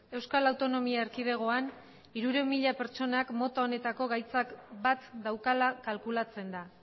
euskal autonomi erkidegoan hirurehun mila pertsonak mota honetako gaitzak bat daukala kalkulatzen da